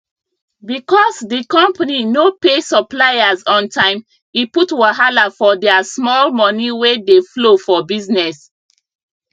because d company no pay suppliers on time e put wahala for their small moni wey dey flow for business